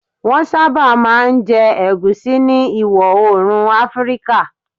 Wọ́n sábà máa ń jẹ Egusi ní Ìwọ̀ Oòrùn Áfíríkà